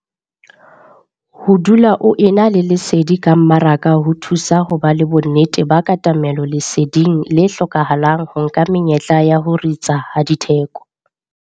Ho dula o ena le lesedi ka mmaraka ho thusa ho ba le bonnete ba katamelo leseding le hlokahalang ho nka menyetla ya ho ritsa ha ditheko.